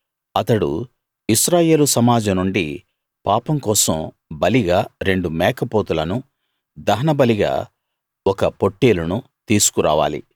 అతడు ఇశ్రాయేలు సమాజం నుండి పాపం కోసం బలిగా రెండు మేక పోతులనూ దహనబలిగా ఒక పొట్టేలునూ తీసుకురావాలి